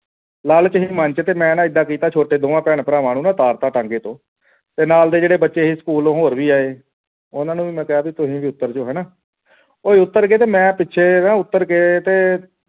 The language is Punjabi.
ਲਾਲਚ ਸੀ ਮਨ ਦੇ ਵਿਚ ਤੇ ਮੈਂ ਇੱਦਾਂ ਕੀਤਾ ਛੋਟੇ ਦੋਨੋਂ ਭੈਣ ਭਰਾਵਾਂ ਨੂੰ ਨਾ ਉਤਾਰ ਦਿੱਤਾ ਟਾਂਗੇ ਦੇ ਵਿੱਚੋ ਤੇ ਨਾਲ ਦੇ ਜੋੜੇ ਬੱਚੇ ਸੀ ਸਕੂਲੋਂ ਉਹ ਵੀ ਆਏ ਉਨ੍ਹਾਂ ਨੂੰ ਵੀ ਮੈਂ ਕਿਹਾ ਤੁਸੀਂ ਵੀ ਉਤਰ ਜਾਓ ਹੋਣਾ ਓਹੋ ਉੱਤਰ ਗਏ ਤੇ ਮੈਂ ਪਿੱਛੇ ਉਤਰ ਕੇ ਨਾਂ